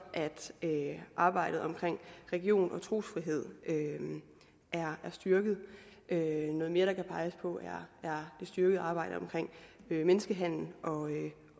at arbejdet omkring religion og trosfrihed er styrket noget mere der kan peges på er det styrkede arbejde omkring menneskehandel